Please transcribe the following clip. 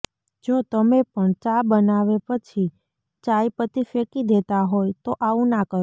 જો તમે પણ ચા બનાવે પછી ચાય પતી ફેંકી દેતા હોય તો આવું ના કરો